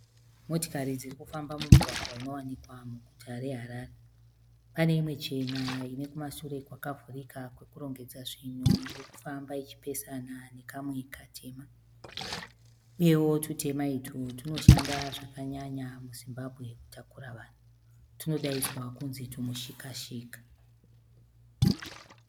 Motokari dzirikufamba mumugwagwa unowanikwa muguta reHarare. Paneimwe chena inekumashure kwakavhurika kwekurongedza zvinhu irikufamba ichipesana nekamwe katema. Uyewo tutema utwu tunoshanda zvakanyanya muZimbabwe kutakura vanhu. Tunodainzwa kudzi tumushikashika.